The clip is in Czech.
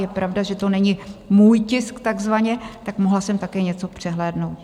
Je pravda, že to není můj tisk takzvaně, tak mohla jsem také něco přehlédnout.